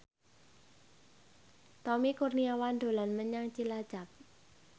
Tommy Kurniawan dolan menyang Cilacap